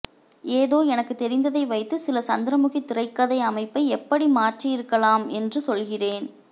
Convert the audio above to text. ஏதோ எனக்குத் தெரிந்ததை வைத்து சில சந்திரமுகி திரைக்கதை அமைப்பை எப்படி மாற்றியிருக்கலாம் என்று சொல்கிறேன்